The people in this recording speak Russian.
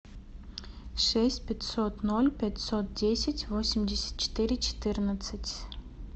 шесть пятьсот ноль пятьсот десять восемьдесят четыре четырнадцать